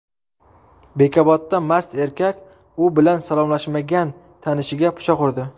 Bekobodda mast erkak u bilan salomlashmagan tanishiga pichoq urdi.